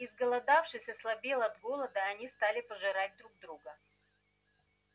изголодавшись ослабел от голода они стали пожирать друг друга